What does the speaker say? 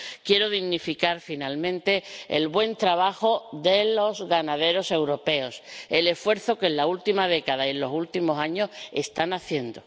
Quiero dignificar, por último, el buen trabajo de los ganaderos europeos, el esfuerzo que en la última década y en los últimos años están haciendo.